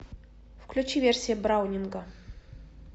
включи версия браунинга